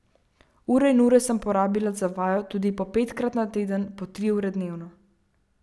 Ure in ure sem porabila za vajo, tudi po petkrat na teden po tri ure dnevno.